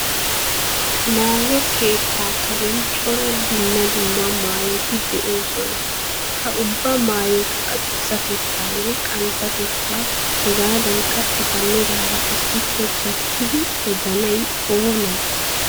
Maayo keettaa karen cora dumma dumma maayoti de'oosona. Ha ubba maayotu adussatettaanne qanttatettaa, hegaadankka eta meraara issippe gattidi odanay oonee?